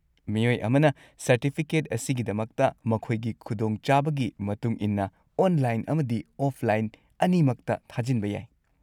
ꯃꯤꯑꯣꯏ ꯑꯃꯅ ꯁꯔꯇꯤꯐꯤꯀꯦꯠ ꯑꯁꯤꯒꯤꯗꯃꯛꯇ ꯃꯈꯣꯏꯒꯤ ꯈꯨꯗꯣꯡ ꯆꯥꯕꯒꯤ ꯃꯇꯨꯡ ꯏꯟꯅ ꯑꯣꯟꯂꯥꯏꯟ ꯑꯃꯗꯤ ꯑꯣꯐꯂꯥꯏꯟ ꯑꯅꯤꯃꯛꯇ ꯊꯥꯖꯤꯟꯕ ꯌꯥꯏ꯫